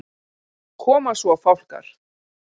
Koma svo Fálkar!